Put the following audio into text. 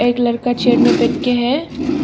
एक लड़का चेयर में बैठ के है।